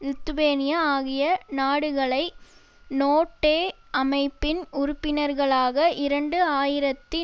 Lithuania ஆகிய நாடுகளை NATO அமைப்பின் உறுப்பினர்களாக இரண்டு ஆயிரத்தி